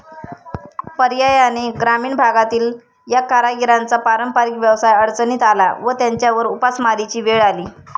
पर्यायाने ग्रामीण भागातील या कारागिरांचा पारंपरिक व्यवसाय अडचणीत आला व त्यांच्यावर उपासमारीची वेळ आली.